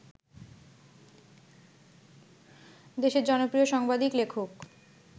দেশের জনপ্রিয় সাংবাদিক, লেখক